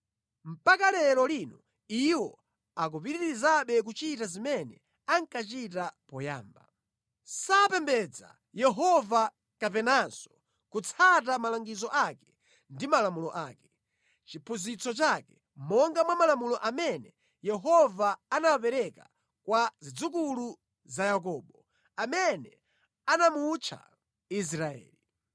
Mpaka lero lino iwo akupitirizabe kuchita zimene ankachita poyamba. Sapembedza Yehova kapenanso kutsata malangizo ake ndi malamulo ake, chiphunzitso chake monga mwa malamulo amene Yehova anawapereka kwa zidzukulu za Yakobo, amene anamutcha Israeli.